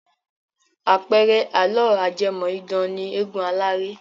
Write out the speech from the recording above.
Àpẹẹrẹ àlọ́ ajẹ́mọ̀-idán ni eégun aláré.